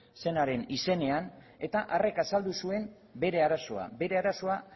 zenaren izenean eta harrek azaldu zuen bere arazoa bere arazoa